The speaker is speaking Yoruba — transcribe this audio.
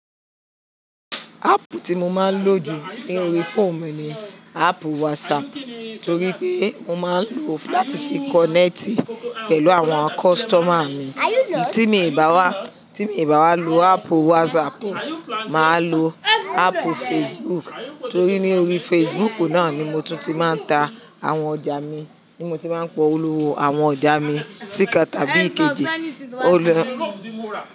Ápù tí mo máa ń lò jù ni órí fóònù mi ni ápù WhatsApp torí pé mo máa ń lò ó láti fi kọ̀nẹ́ẹ́tì pẹ̀lú àwọn kọ́sítọ́mà mi. Eyi tí mi ò bá wá, tí mi ò bá wá lo ápu WhatsApp, màá lo ápù Facebook torí ní orí Facebook náà ni mo tún ti máa ń ta àwọn ọjà mi, ni mo ti máa ń pọ olówó àwọn ọjà mi síìkan tàbí èkejì ọlọ.